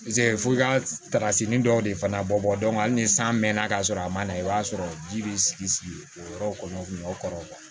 f'i ka takasini dɔw de fana bɔ hali ni san mɛnna ka sɔrɔ a ma na i b'a sɔrɔ ji bɛ sigi sigi o yɔrɔ kɔnɔ o kun bɛ o kɔrɔ